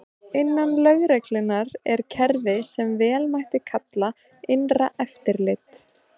Innan lögreglunnar er kerfi sem vel mætti kalla innra eftirlit.